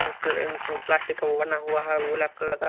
plastic का बना हुआ है ब्लैक कलर का--